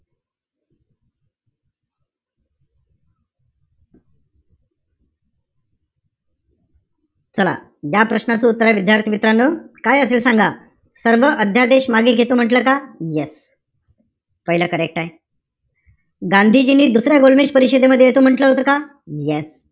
चला या प्रश्नाचं उत्तर आहे, विद्यार्थी-मित्रांनो, काय असेल सांगा? सर्व अध्यादेश मागे घेतो म्हंटल का? Yes. पाहिलं correct आहे. गांधीजींनी दुसऱ्या गोलमेज परिषदेमध्ये येतो म्हंटल होतं का? Yes.